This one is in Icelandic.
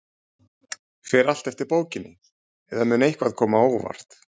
Fer allt eftir bókinni, eða mun eitthvað koma á óvart?